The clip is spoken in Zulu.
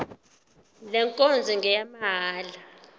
le nkonzo ngeyamahala